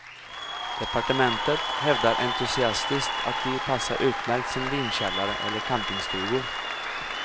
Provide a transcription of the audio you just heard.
Departementet hävdar entusiastiskt att de passar utmärkt som vinkällare eller campingstugor.